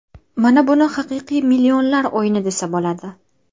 Mana buni haqiqiy millionlar o‘yini desa bo‘ladi.